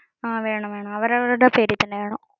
ആഹ് വേണം വേണം. അവരവരുടെ പേരിൽ തന്നെ വേണം.